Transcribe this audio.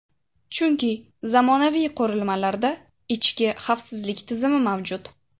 Chunki zamonaviy qurilmalarda ichki xavfsizlik tizimi mavjud.